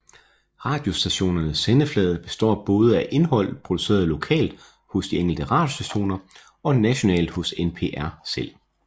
Radiostationernes sendeflade består både af indhold produceret lokalt hos de enkelte radiostationer og nationalt hos NPR selv